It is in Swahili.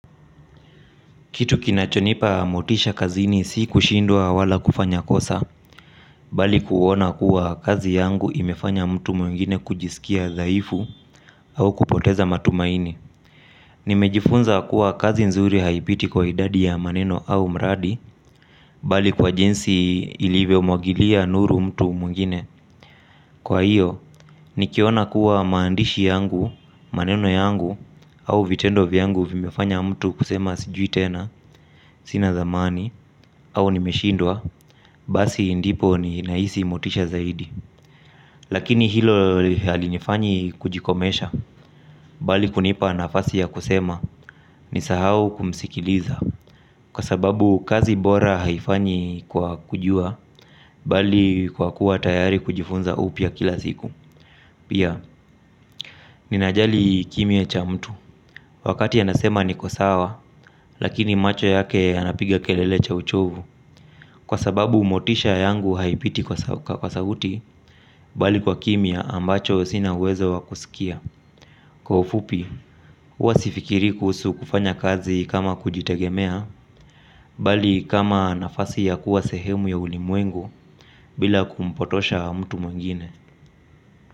Kitu kinachonipa motisha kazini si kushindwa wala kufanya kosa, bali kuona kuwa kazi yangu imefanya mtu mwingine kujisikia dhaifu au kupoteza matumaini. Nimejifunza kuwa kazi nzuri haipiti kwa idadi ya maneno au mradi, bali kwa jinsi ilivyomwagilia nuru mtu mwingine. Kwa hiyo, nikiona kuwa maandishi yangu, maneno yangu, au vitendo vyangu vimefanya mtu kusema sijui tena, sina thamani, au nimeshindwa, basi ndipo ninahisi motisha zaidi. Lakini hilo halinifanyi kujikomesha, bali kunipa nafasi ya kusema, nisahau kumsikiliza. Kwa sababu kazi bora haifanyi kwa kujua, bali kwa kuwa tayari kujifunza upya kila siku. Pia, ninajali kimya cha mtu, wakati anasema niko sawa, lakini macho yake ya napiga kelele cha uchovu. Kwa sababu motisha yangu haipiti kwa sauti, bali kwa kimya ambacho sina uwezo wa kusikia. Kwa ufupi, huwa sifikirii kuhusu kufanya kazi kama kujitegemea, bali kama nafasi ya kuwa sehemu ya ulimwengu, bila kumpotosha mtu mwengine.